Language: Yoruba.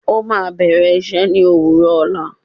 Ó máa bẹ̀rẹ̀ iṣẹ́ ní òwúrọ̀ ọ̀la